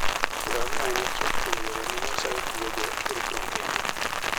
Ngamia en achiel kuom yore ma Nyasaye tiyogo e rito ngima